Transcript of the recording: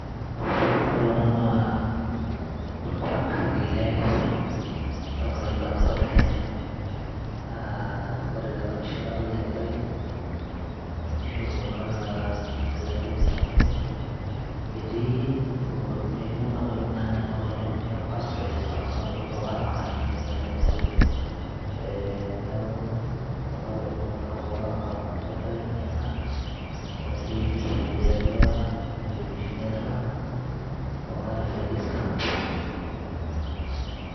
ore ena naa orkuak ele lenkaliba nabo te kenya naa ore tena pisha kadolta enkerai nemishopo naata inkilani e utamaduni etii nekua kuapi, etii kuna kuapi nanyamal oleng e pastoralist kuna kuapi taa olaramatak nejia naaji aidim atejo eh, niaku kuna kuapi kuna olaramatak kuna neeku enkera kinyi ena naoshitoi empisha etii tua ewueji oshi nirrag ekuna refugees camp.